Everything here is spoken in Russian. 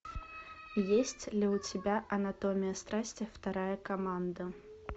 есть ли у тебя анатомия страсти вторая команда